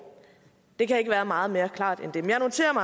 det kan ikke være meget mere klart end det men jeg noterer